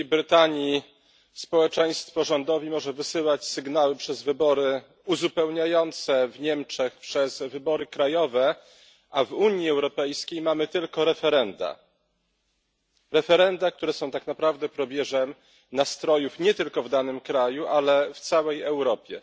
W Wielkiej Brytanii społeczeństwo rządowi może wysyłać sygnały przez wybory uzupełniające, w Niemczech przez wybory krajowe, a w Unii Europejskiej mamy tylko referenda. Referenda, które są tak naprawdę probierzem nastrojów nie tylko w danym kraju, ale w całej Europie.